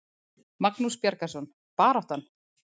Magnús Bjargarson: Baráttan?